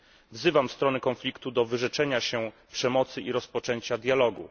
Wzywam strony konfliktu do wyrzeczenia się przemocy i do rozpoczęcia dialogu.